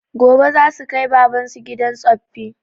Gobe zasu kai baban su gidan tsoffi